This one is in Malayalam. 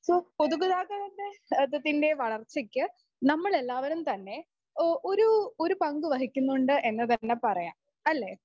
പൊതുഗതാഗതത്തിൻറെ വളർച്ചയ്ക്ക് നമ്മളെല്ലാവരും തന്നെ ആഹ് ഒരു ഒരു പങ്കുവഹിക്കുന്നുണ്ട് എന്ന് തന്നെ പറയാം അല്ലേ?